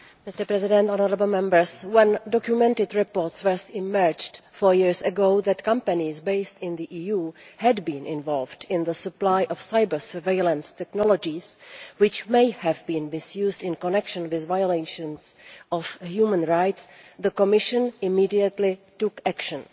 Mr President, when documented reports first emerged four years ago that companies based in the EU had been involved in the supply of cyber surveillance technologies which may have been misused in connection with violations of human rights the Commission immediately took action.